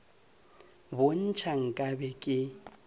bo ntšha nka be ke